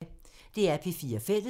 DR P4 Fælles